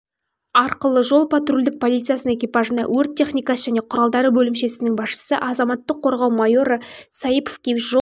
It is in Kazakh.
арқылы жол-патрульдік полициясының экипажына өрт техникасы және құралдары бөлімшесінің басшысы азаматтық қорғау майоры саиповке жол